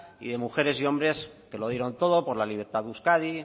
y de mujeres y hombres que lo dieron todo por la libertad de euskadi